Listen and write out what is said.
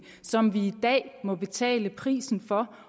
som vi i dag må betale prisen for